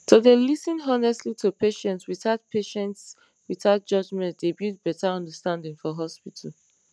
to dey lis ten honestly to patients without patients without judgement dey build better understanding for hospitals